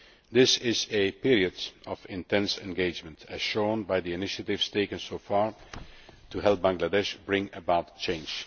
This is a period of intense engagement, as shown by the initiatives taken so far to help Bangladesh bring about change.